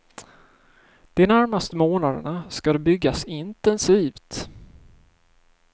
De närmaste månaderna ska det byggas intensivt.